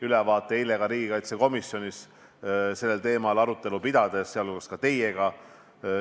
Ütlesin seda eile riigikaitsekomisjonis sellel teemal arutelu pidades, sealhulgas ka teiega.